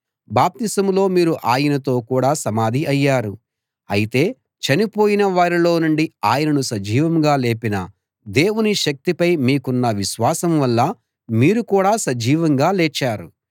బాప్తిసంలో మీరు ఆయనతో కూడా సమాధి అయ్యారు అయితే చనిపోయిన వారిలో నుండి ఆయనను సజీవంగా లేపిన దేవుని శక్తిపై మీకున్న విశ్వాసం వల్ల మీరు కూడా సజీవంగా లేచారు